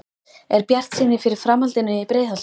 Er bjartsýni fyrir framhaldinu í Breiðholtinu?